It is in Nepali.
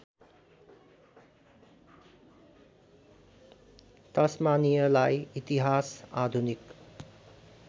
तस्मानियाई इतिहास आधुनिक